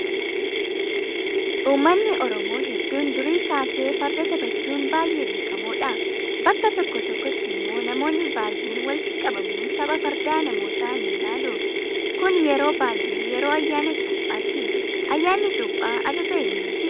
Uummanni oromoo hedduun durii kaasee farda taphachuun baay'ee beekamoodha. Bakka tokko tokkotti immoo namoonni baay'een walitti qabamuun tapha fardaa namootaa ni ilaalu. Kun yeroo baay'ee yeroo ayyaan cuuphaati. Ayyaanni cuuphaa ajaja eenyuuti?